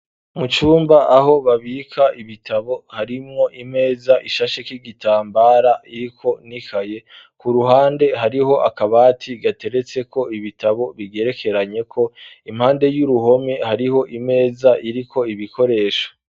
Mucumba aho babika ibitabo harimwo imeza ishashe k'igitambara iriko nikaye. Ku ruhande hariho akabati gateretse ko ibitabo bigerekeranye ko impande y'uruhome hariho imeza iriko ibikoresho.